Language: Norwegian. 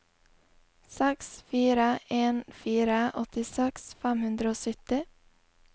seks fire en fire åttiseks fem hundre og sytti